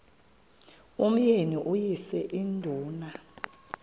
umyeni uyise iduna